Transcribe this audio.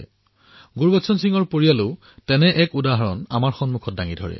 শ্ৰীমান গুৰবচন সিংজীৰ পৰিয়ালে এনে এক আদৰ্শ আমাৰ সন্মুখত দাঙি ধৰিলে